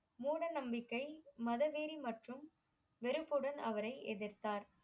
மூட நம்பிக்கை மத வெறி மற்றும் வெறுப்புடன் அவரை எதிர்த்தார்